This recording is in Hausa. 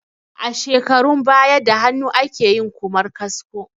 A shekarun baya da hannu akeyin Ƙumar kasko